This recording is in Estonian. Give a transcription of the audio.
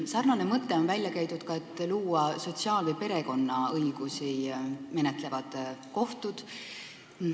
Samamoodi on välja käidud mõte luua sotsiaal- või perekonnaõigusega seotud asju menetlevad kohtud.